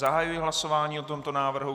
Zahajuji hlasování o tomto návrhu.